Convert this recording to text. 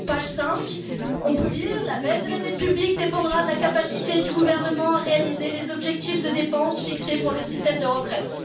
Page 5, on peut lire la baisse de la dette publique dépendra de la capacité du gouvernement à réaliser les objectifs de dépense fixés pour le système de retraite.